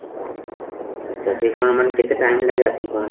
ତ shipment ମାନେ କେତେ time ଲାଗେ actually ତମର